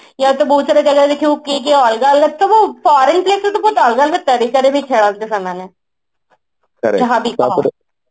ୟା ତ ବହୁତ ସାରା ଜାଗାରେ ଦେଖିବୁ କିଏ କିଏ ଅଲଗା ଅଲଗାରେ ସବୁ foreign ପିଲା ତ ସବୁ ଅଲଗା ଅଲଗା ତରିକାରେ ବି ଖେଳନ୍ତି ସେମାନେ